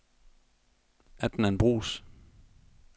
Adnan Bruus